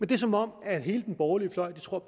det er som om hele den borgerlige fløj tror